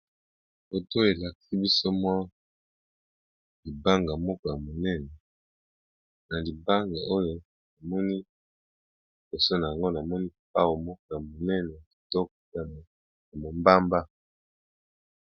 Photo elakisi biso libanga moko ya monene, na libanga oyo liboso nayango na moni lupao moko munene yakitoko ya mombamba.